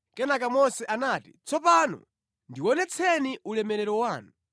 Kenaka Mose anati, “Tsopano ndionetseni ulemerero wanu.”